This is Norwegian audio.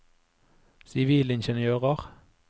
sivilingeniører